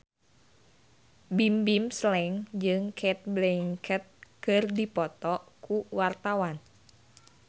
Bimbim Slank jeung Cate Blanchett keur dipoto ku wartawan